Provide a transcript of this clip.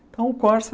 Então, o Corsa...